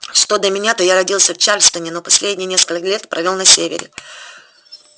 что до меня то я родился в чарльстоне но последние несколько лет провёл на севере